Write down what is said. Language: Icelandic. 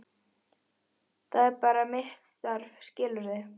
Það er bara mitt starf, skilurðu.